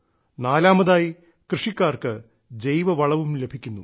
നാലാമതായി കൃഷിക്കാർക്ക് ജൈവവളവും ലഭിക്കുന്നു